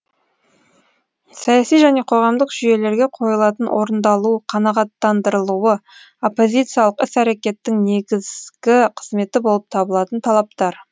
саяси және қоғамдық жүйелерге қойылатын орындалуы қанағаттандырылуы оппозициялық іс әрекеттің негізгі қызметі болып табылатын талаптар